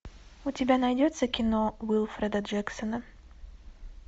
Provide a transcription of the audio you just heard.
у тебя найдется кино уилфреда джексона